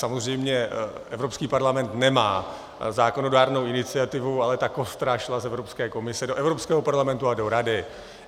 Samozřejmě Evropský parlament nemá zákonodárnou iniciativu, ale ta kostra šla z Evropské komise do Evropského parlamentu a do Rady.